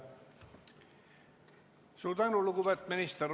Suur tänu, lugupeetud minister!